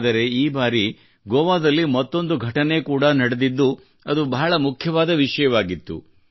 ಆದರೆ ಈ ಬಾರಿ ಗೋವಾದಲ್ಲಿ ಮತ್ತೊಂದು ಘಟನೆ ಕೂಡಾ ನಡೆದಿದ್ದು ಅದು ಬಹಳ ಮುಖ್ಯವಾದ ವಿಷಯವಾಗಿತ್ತು